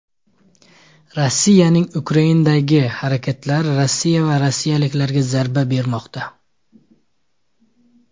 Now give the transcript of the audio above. Rossiyaning Ukrainadagi harakatlari Rossiya va rossiyaliklarga zarba bermoqda.